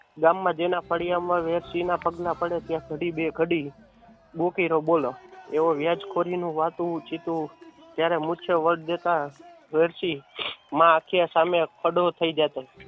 ગામ માં જેના ફળીયા માં વેરશી ના પગલા પડે ત્યાં ઘડી બે ઘડી રવ બોલો એવો વ્યાજ ખોરી નો વાતું ચિતુ ત્યારે વડ દેતા વેરશી માં આંખ્ય સામે ખડો થય જતો